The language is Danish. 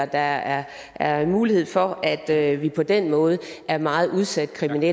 der er er mulighed for at vi på den måde er meget udsat fordi vi